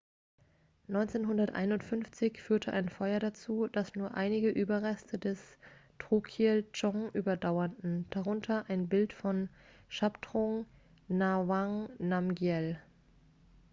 1951 führte ein feuer dazu dass nur einige überreste des drukyel-dzong überdauerten darunter das bild von shabdrung ngawang namgyel